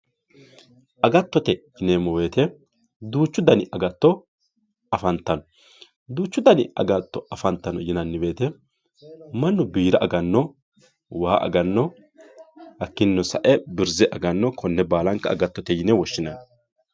agattote yineemmo woyiite duuchu dani agatto afantanno duuchu dani agatto afantanno yineemmo woyiite mannu biira aganno waa aganno hakkiinnino sa"e birze aganno konne baalanka agattote yine woshshinayi yaate